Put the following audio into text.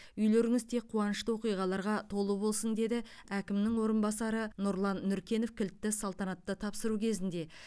үйлеріңіз тек қуанышты оқиғаларға толы болсын деді әкімнің орынбасары нұрлан нұркенов кілтті салтанатты тапсыру кезінде